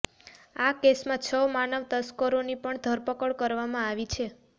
આ કેસમા છ માનવ તસકરોની પણ ધરપકડ કરવામા આવી છે